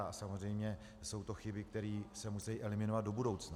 A samozřejmě jsou to chyby, které se musí eliminovat do budoucna.